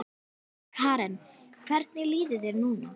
Karen: Hvernig líður þér núna?